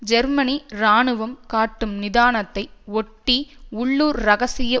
ஜெர்மனிய இராணுவம் காட்டும் நிதானத்தை ஒட்டி உள்ளூர் இரகசிய